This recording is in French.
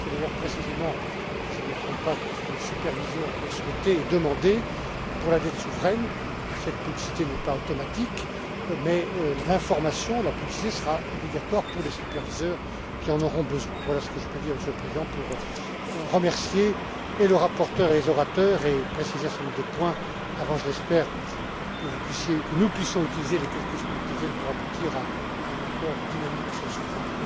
seuil. C'est d'ailleurs précisément, si je ne me trompe pas, ce que les superviseurs avaient souhaité et demandé. Pour la dette souveraine, cette publicité n'est pas automatique, mais l'information, la publicité, sera obligatoire pour les superviseurs qui en auront besoin. Voilà, ce que je peux dire, Monsieur le Président, pour remercier et le rapporteur et les orateurs, et préciser un certain nombre de points, avant, je l'espère, que vous puissiez, que nous puissions utiliser les quelques semaines qui viennent pour aboutir à un accord dynamique sur ce point.